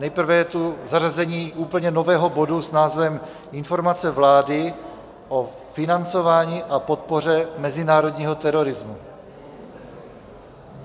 Nejprve je tu zařazení úplně nového bodu s názvem Informace vlády o financování a podpoře mezinárodního terorismu.